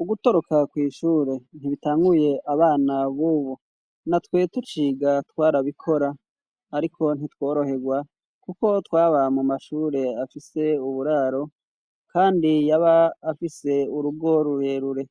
Ugutoroka kw'ishure ntibitanguye abana b'ubu na twe tuciga twarabikora, ariko ntitworoherwa, kuko twaba mu mashure afise uburaro, kandi yaba afise urugo rurerure,